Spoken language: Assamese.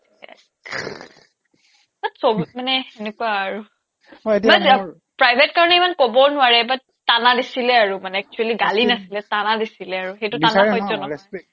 সবত মানে এনেকুৱা আৰু private কাৰণে ইমান কবও নোৱাৰে but tana দিছিলে আৰু মানে actually গালি নাছিলে tana দিছিলে আৰু tana সেইটো tana সহ্য নহয়